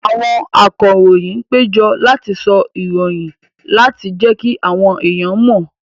Àwọn akọròyìn péjọ láti sọ ìròyìn láti jẹ́kí àwọn èèyàn mọ̀